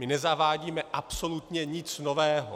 My nezavádíme absolutně nic nového.